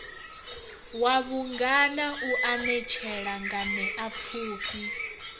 wa vhungana u anetshela nganeapfufhi